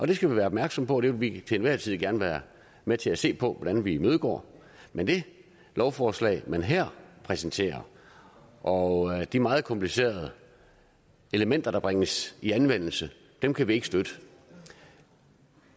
det skal vi være opmærksomme på og det vil vi til enhver tid gerne være med til at se på hvordan vi imødegår men det lovforslag man her præsenterer og de meget komplicerede elementer der bringes i anvendelse kan kan vi ikke støtte